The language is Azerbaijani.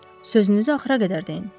Sözünüzü axıra qədər deyin.